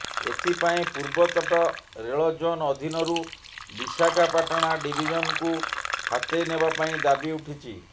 ଏଥିପାଇଁ ପୂର୍ବତଟ ରେଳ ଜୋନ୍ ଅଧୀନରୁ ବିଶାଖାପାଟଣା ଡିଭିଜନ୍କୁ ହାତେଇ ନେବା ପାଇଁ ଦାବି ଉଠିଛି